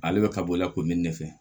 Ale bɛ ka bɔ i la kɔmi ne fɛ